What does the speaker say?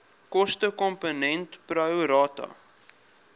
kostekomponent pro rata